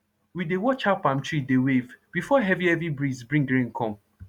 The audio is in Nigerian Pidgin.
we dey watch how palm tree dey wave before heavy heavy breeze bring rain come